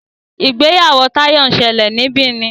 ìgbéyàwó Tayo nsele ní Benin.